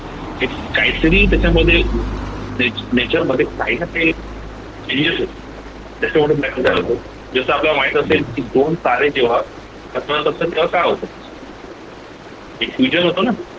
एक काहीतरी त्याच्यामध्ये एक nature मध्ये काहीना काही changes होतो ज्याच्यामधून लागतो जस आपल्याला माहित असेल की दोन तारे जेव्हा टकरावतात असेल तेव्हा काय होत? एक होत न